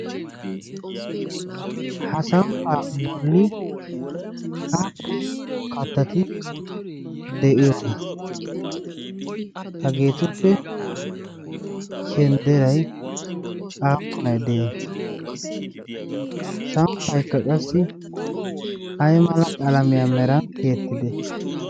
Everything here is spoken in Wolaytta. ha samppaa bolli aakku kattati de'iyoona. hageetuppe shendderay aappunay de'ii samppa ekka qassi ay mala qalamiyaa meran tiyettide?